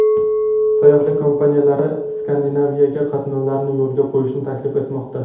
Sayyohlik kompaniyalari Skandinaviyaga qatnovlarni yo‘lga qo‘yishni taklif etmoqda.